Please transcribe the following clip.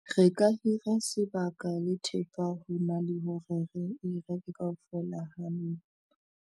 Re ka hira sebaka le thepa ho na le hore re e reke kaofela ha yona.